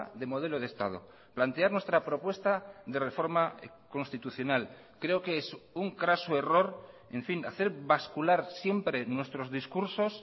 de modelo de estado plantear nuestra propuesta de reforma constitucional creo que es un craso error en fin hacer bascular siempre nuestros discursos